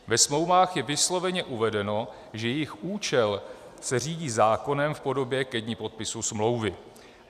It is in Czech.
Ve smlouvách je vysloveně uvedeno, že jejich účel se řídí zákonem v podobě ke dni podpisu smlouvy.